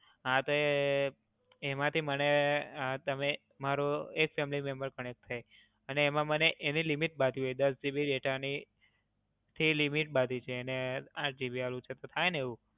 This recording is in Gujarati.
હાં તે એમાંથી મને તમે મારુ એક family member connect થાય અને એમાં મને એની limit બાંધવી હોય દસ GB data ની. એને limit બાંધી છે આઠ GB data વાળી, તો થાય ને એવું?